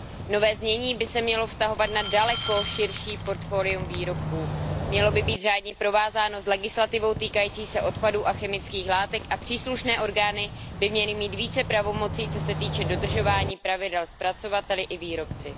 Nové znění by se mělo vztahovat na daleko širší portfolium výrobků, mělo by být řádně provázáno s legislativou týkající se odpadů a chemických látek a příslušné orgány by měly mít více pravomocí, co se týče dodržování pravidel zpracovateli i výrobci.